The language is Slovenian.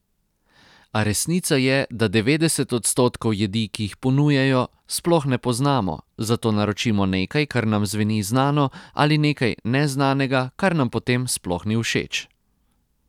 A resnica je, da devetdeset odstotkov jedi, ki jih ponujajo, sploh ne poznamo, zato naročimo nekaj, kar nam zveni znano, ali nekaj neznanega, kar nam potem sploh ni všeč.